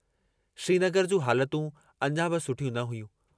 श्रीनगर जूं हालतूं अञा बि सुठियूं न हुयूं।